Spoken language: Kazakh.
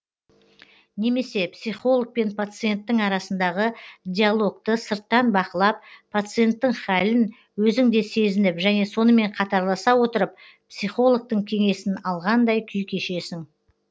немесе психолог пен пациенттің арасындағы диалогты сырттан бақылап пациенттің хәлін өзің де сезініп және сонымен қатарласа отырып психологтың кеңесін алғандай күй кешесің